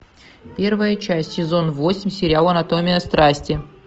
первая часть сезон восемь сериал анатомия страсти